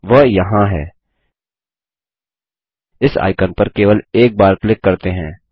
वह यहाँ है इस आइकन पर केवल एक बार क्लिक करते हैं